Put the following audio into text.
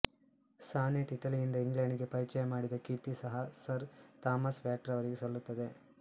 sonnet ಇಟಲಿಯಿಂದ England ಗೆ ಪರಿಚಯ ಮಾಡಿದ ಕೀರ್ತಿ ಸಹ ಸರ್ ಥಾಮಸ್ ವ್ಯಾಟ್ ರವರಿಗೆ ಸಲ್ಲುತ್ತದೆ